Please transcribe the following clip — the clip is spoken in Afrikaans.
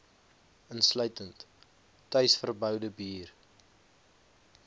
insluitend tuisverboude bier